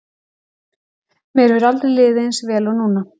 Mér hefur aldrei liðið eins vel og núna.